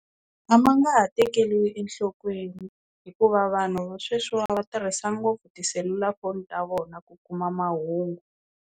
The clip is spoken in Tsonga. A ma nga ha tekeriwi enhlokweni hikuva vanhu va sweswiwa va tirhisa ngopfu tiselulafoni ta vona ku kuma mahungu.